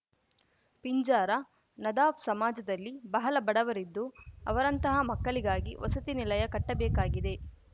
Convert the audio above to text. ಪಿಂಜಾರ ನದಾಫ್‌ ಸಮಾಜದಲ್ಲಿ ಬಹಲ ಬಡವರಿದ್ದು ಅವರಂತಹ ಮಕ್ಕಲಿಗಾಗಿ ವಸತಿ ನಿಲಯ ಕಟ್ಟಬೇಕಾಗಿದೆ